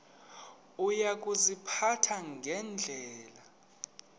uya kuziphatha ngendlela